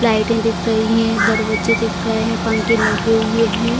लाइटें दिख रही है दरवाजें दिख रहें हैं पंखे लगे हुए हैं।